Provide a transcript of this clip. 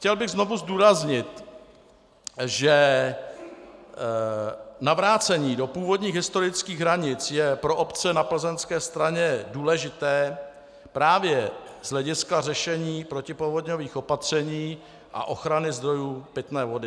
Chtěl bych znovu zdůraznit, že navrácení do původních historických hranic je pro obce na plzeňské straně důležité právě z hlediska řešení protipovodňových opatření a ochrany zdrojů pitné vody.